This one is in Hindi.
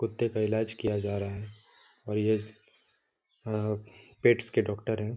कुत्ते का इलाज किया जा रहा है और यह अऽ पेट्स के डॉक्टर है।